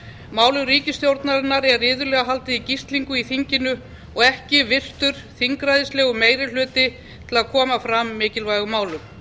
málum ríkisstjórnarinnar er iðulega haldið í gíslingu í þinginu og ekki virtur þingræðislegur meirihluti til að koma fram mikilvægum málum þetta